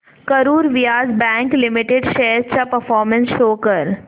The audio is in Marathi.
Karur Vysya bank limited shares चा परफॉर्मन्स शो कर